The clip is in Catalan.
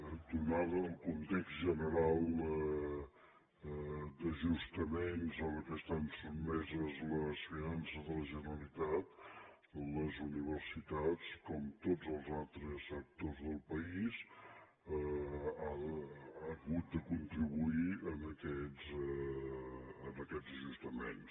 atès el context general d’ajustaments a què estan sotmeses les finances de la generalitat les universitats com tots els altres sectors del país han hagut de contribuir en aquests ajustaments